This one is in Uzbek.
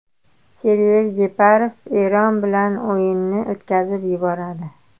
Server Jeparov Eron bilan o‘yinni o‘tkazib yuboradi.